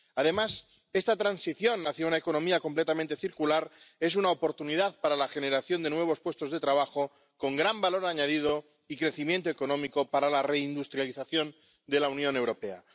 Además, esta transición hacia una economía completamente circular es una oportunidad para la generación de nuevos puestos de trabajo con gran valor añadido y crecimiento económico para la reindustrialización de la Unión Europea.